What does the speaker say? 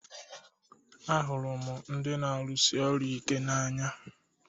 Ahụrụ m ndị na-arụsi ọrụ ike n'anya